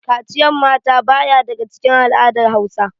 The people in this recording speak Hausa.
Kaciyan mata ba ya daga cikin al'adar Hausa.